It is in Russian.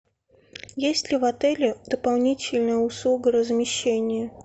есть ли в отеле дополнительная услуга размещения